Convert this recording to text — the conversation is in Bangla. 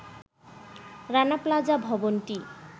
রানা প্লাজা ভবনটি